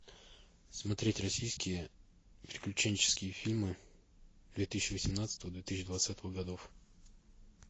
смотреть российские приключенческие фильмы две тысячи восемнадцатого две тысячи двадцатого годов